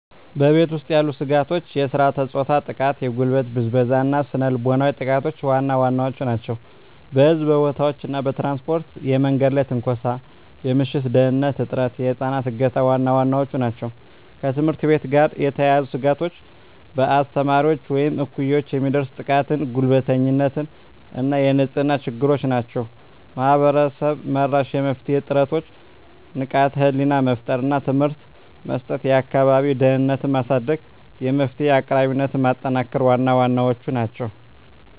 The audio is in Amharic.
በቤት ውስጥ ያሉ ስጋቶች የሥርዓተ-ፆታ ጥቃ፣ የጉልበት ብዝበዛ እና ስነ ልቦናዊ ጥቃቶች ዋና ዋናዎቹ ናቸው። በሕዝብ ቦታዎች እና በትራንስፖርት የመንገድ ላይ ትንኮሳ፣ የምሽት ደህንንነት እጥረት፣ የህፃናት እገታ ዋና ዋናዎቹ ናቸው። ከትምህርት ቤት ጋር የተያያዙ ስጋቶች በአስተማሪዎች ወይም እኩዮች የሚደርስ ጥቃትና ጉልበተኝነት እና የንጽህና ችግሮች ናቸው። ማህበረሰብ-መራሽ የመፍትሄ ጥረቶች ንቃተ ህሊና መፍጠር እና ትምህርት መስጠት፣ የአካባቢ ደህንነትን ማሳደግ፣ የመፍትሄ አቅራቢነትን ማጠናከር ዋና ዋናዎቹ ናቸው።